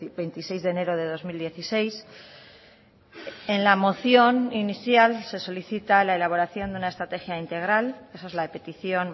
veintiséis de enero de dos mil dieciséis en la moción inicial se solicita la elaboración de una estrategia integral esa es la petición